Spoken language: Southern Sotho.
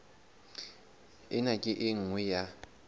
ena ke e nngwe ya